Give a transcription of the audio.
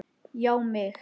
Já mig!